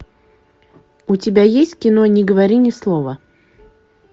у тебя есть кино не говори ни слова